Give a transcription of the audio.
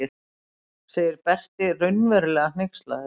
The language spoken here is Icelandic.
segir Berti raunverulega hneykslaður.